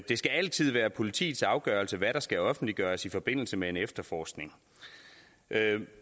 det skal altid være politiets afgørelse hvad der skal offentliggøres i forbindelse med en efterforskning